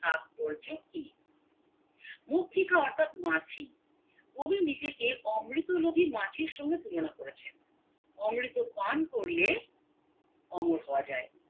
তাৎপর্য কি অর্থাৎ মাছি কবি নিজেকে অমৃত লোভী মাছি র সঙ্গে তুলনা করেছেন অমৃত পান করলে অমর হওয়া যায়